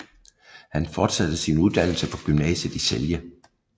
Han fortsatte sin uddannelse på gymnasiet i Celje